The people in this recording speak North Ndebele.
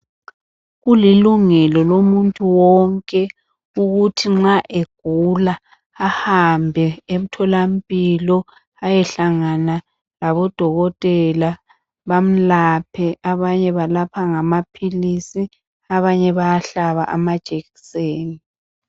Kulilungelo lomuntu wonke ukuthi nxa egula ahambe emtholampilo ayehlangana labodokotela bamlaphe, abanye balapha ngamaphilisi abanye bayahlaba.